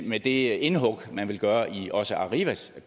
med det indhug man vil gøre i også arrivas